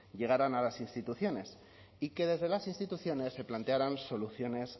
llegaran a las instituciones y que desde las instituciones se plantearan soluciones